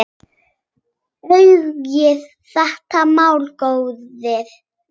Athugið þetta mál, góðir menn!